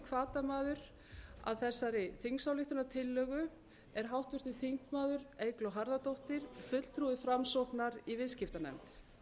hvatamaður að þessari þingsályktunartillögu er háttvirtur þingmaður eygló harðardóttir fulltrúi framsóknar í viðskiptanefnd